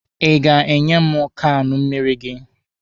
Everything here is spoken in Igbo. Ị ga-enye m kaanụ mmịrị gị?